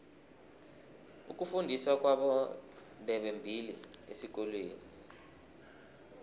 ukufundiswa kwabondebembili esikolweni